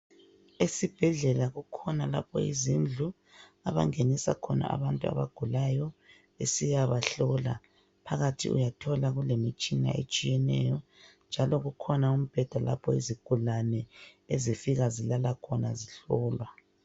Esibhedlela kukhona lapho izindlu abangenisa khona abantu abagulayo besiyabahlola. Phakathi uyathola kule imitshina etshiyeneyo njalo kukhona umbhede lapho izigulani ezifika zilala khona zihlolwa